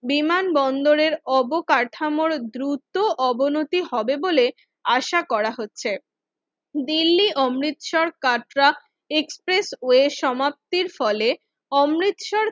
বিমানবন্দরের অবকাঠামোর দ্রুত অবনতি হবে বলে আশা করা হচ্ছে, দিল্লি অমৃতসর কাটরা এক্সপ্রেসওয়ে সমাপ্তির ফলে অমৃতসর